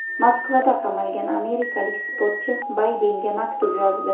Moskvada qamalgan amerikalik sportchi Baydenga maktub yozdi.